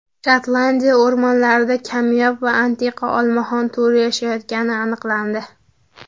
Shotlandiya o‘rmonlarida kamyob va antiqa olmaxon turi yashayotgani aniqlandi.